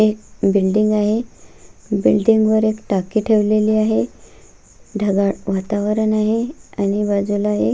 एक बिल्डिंग आहे बिल्डिंग वर एक टाकी ठेवलेली आहे ढगाळ वातावरण आहे आणि बाजुला एक --